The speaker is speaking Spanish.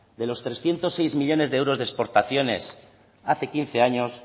de los trescientos seis millónes de euros de exportaciones hace quince años